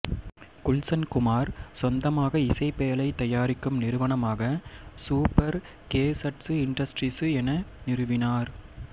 குல்சன் குமார் சொந்தமாக இசைப் பேழை தயாரிக்கும் நிறுவனமாக சூப்பர் கேசட்சு இன்டஸ்ட்ரீசு என நிறுவினார்